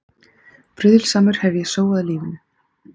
Bruðlsamur hef ég sóað lífinu.